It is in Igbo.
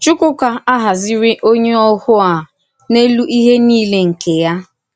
Chùkwùkà àhàzìrì onyé òhù a “n’èlù íhè niile nke ya.”